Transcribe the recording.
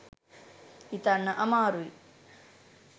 හිතන්න අමාරුයි